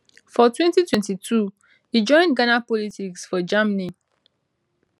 for 2002 e join ghana politics for germany